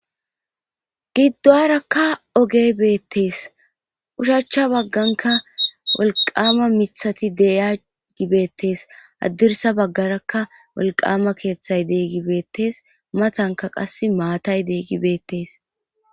giddoarakka oge beettees ushachcha bagganka wolqama mithati de'agi beettees addirsa baggarakka wolqama keeththay deeygi beettees matanka qas maatay deeygi beettees